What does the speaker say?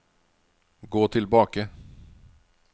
gå tilbake